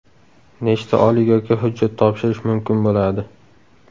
Nechta oliygohga hujjat topshirish mumkin bo‘ladi?